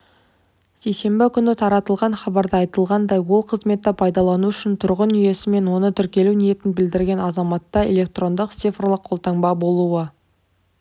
сейсенбі күні таратылған хабарда айтылғандай ол қызметті пайдалану үшін тұрғын үйиесі мен онда тіркелу ниетін білдірген азаматта электрондық цифрлық қолтаңба болуы